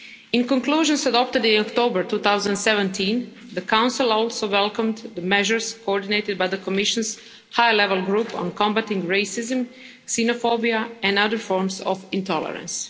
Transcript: In conclusions adopted in October 2017, the Council also welcomed the measures coordinated by the Commission's High Level Group on combating racism, xenophobia and other forms of intolerance.